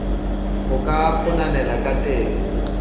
ho ka kgonehang ka teng